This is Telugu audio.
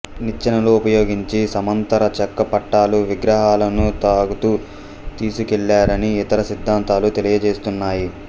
నిచ్చెనలు ఉపయోగించి సమాంతర చెక్క పట్టాలు విగ్రహాలను లాగుతూ తీసుకెళ్లారని ఇతర సిద్ధాంతాలు తెలియజేస్తున్నాయి